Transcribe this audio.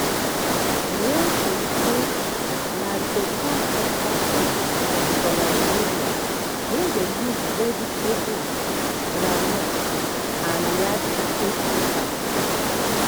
miyan taushe na better hausa soup for nigeria wey dey use vegetable groundnut and yaji take cook am